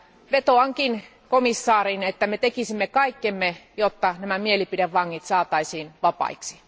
Vetoankin komissaariin, että me tekisimme kaikkemme, jotta nämä mielipidevangit saataisiin vapaiksi.